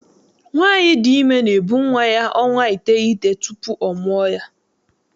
Nwaanyi dị ime na-ebu nwa ya ọnwa iteghete tupu ọ mụọ ya.